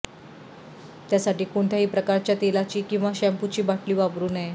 त्यासाठी कोणत्याही प्रकारच्या तेलाची किंवा शॅम्पूची बाटली वापरू नये